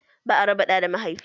Ba a raba ɗa da mahaifi.